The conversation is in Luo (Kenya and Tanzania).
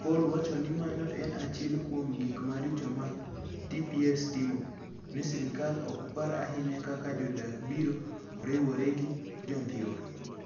Paulo wacho ni mano en achiel kuom gik maricho ma TPS timo - ni sirkal ok par ahinya kaka jodak biro riwore gi Jo-Dhiwa,